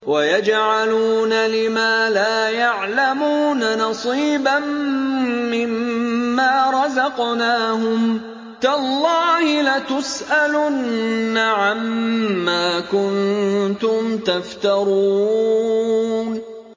وَيَجْعَلُونَ لِمَا لَا يَعْلَمُونَ نَصِيبًا مِّمَّا رَزَقْنَاهُمْ ۗ تَاللَّهِ لَتُسْأَلُنَّ عَمَّا كُنتُمْ تَفْتَرُونَ